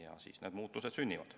Alles siis need muutused sünnivad.